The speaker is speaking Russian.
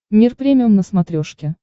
мир премиум на смотрешке